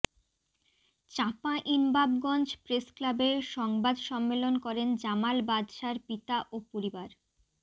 চাঁপাইনবাবগঞ্জ প্রেসক্লাবে সংবাদ সম্মেলন করেন জামাল বাদশার পিতা ও পরিবার